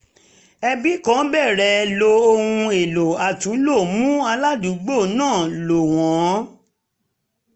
ẹbi kan bẹ̀rẹ̀ lo ohun èlò àtúnlò mú aládùúgbò náà lò wọ́n